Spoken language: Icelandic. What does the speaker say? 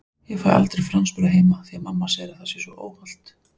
Ég fæ aldrei franskbrauð heima því mamma segir að það sé svo óhollt!